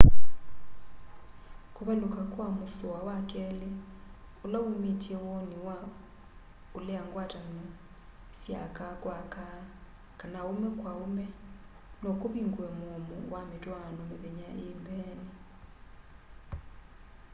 kuvaluka kwa musoa wa keli ula umitye woni wa ulea ngwatano sya aka kwa aka kana aume kwa aume no kuvingue muomo wa mitwaano mithenya ii mbeeni